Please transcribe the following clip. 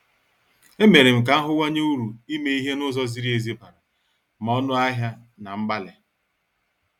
E merem ka ahuwanye uru ime ihe n' ụzọ ziri ezi bara ma ọnụ ahịa na mgbalị.